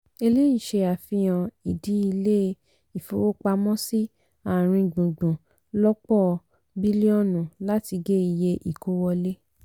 eléyìí se àfihàn ìdí ilé ifowópamọ́sí àárín gbùngbùn lòpọ̀ bílíọ̀nu láti gé iye ìkó wọlé.